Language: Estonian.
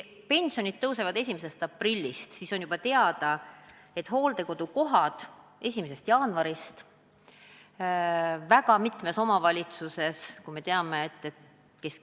Pension suureneb 1. aprillist, kuid on teada, et hooldekodukoha tasu suureneb mitmes omavalitsuses juba 1. jaanuarist.